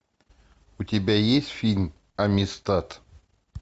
у тебя есть фильм аместат